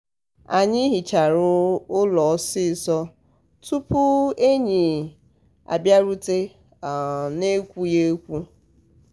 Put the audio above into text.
anyị hịchara ụlọ ọsịsọ tụpụ [enyi] abịarute um n'ekwughị ekwu.